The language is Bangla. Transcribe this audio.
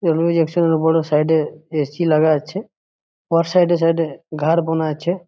রুম এর সাইড এ বড় এ.সি. লাগা আছে ওর সাইড এ সাইড এ ঘাড় বোনা আছে।